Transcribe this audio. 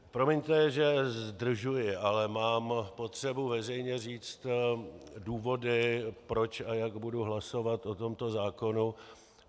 Promiňte, že zdržuji, ale mám potřebu veřejně říct důvody, proč a jak budu hlasovat o tomto zákonu.